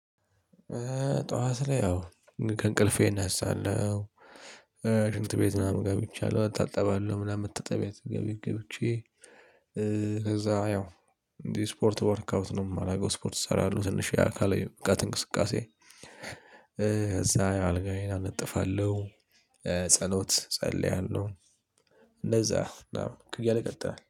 ጠዋት ላይ ያው ከእንቅልፌ እነሳለሁ፣። ሽንት ቤት ምናምን ገብቻለሁ እታጠባለሁ ምናምን መታጠቢያ ቤት ገብቼ ከዛ ያው እንዴ ስፖርት ወርክ አውት ነው የማረገው ስፖርት እሰራለሁ ትንሽ የአካላዊ ብቃት እንቅስቃሴ። ከዛ አልጋዬን አነጥፋለሁ። ጸሎት ጸልያለሁ። እንደዛ ምናምን እያለ ቀጠለ